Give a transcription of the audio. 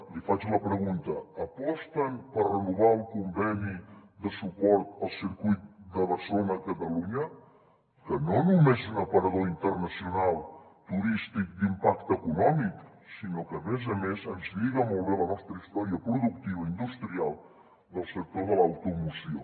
li faig la pregunta aposten per renovar el conveni de suport al circuit de barcelona catalunya que no només és un aparador internacional turístic d’impacte econòmic sinó que a més a més ens lliga molt bé a la nostra història productiva industrial del sector de l’automoció